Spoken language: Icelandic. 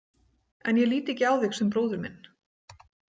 En ég lít ekki á þig sem bróður minn.